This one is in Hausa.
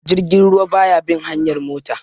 Jirgin ruwa ba ya bin hanyar mota